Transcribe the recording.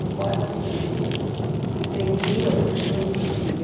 Não pode se se prender a um único filho.